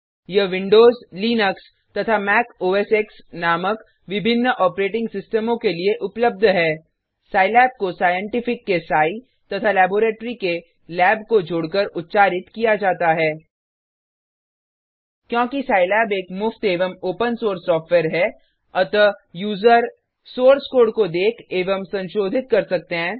यह Windows Linux तथा Mac OS X नामक विभिन्न ऑपरेटिंग सिस्टमों के लिए उपलब्ध है सिलाब को साइंटिफिक के सीआई तथा लैबोरेटरी के लैब को जोड़कर उच्चारित किया जाता है क्योंकि सिलाब एक मुफ्त एवं ओपन सोर्स सॉफ्टवेयर है अतः यूजर सोर्स कोड को देख एवं संशोधित कर सकते हैं